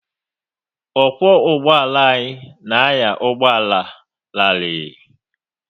Ọkwo ụgbọala anyị na anya ụgbọala rarii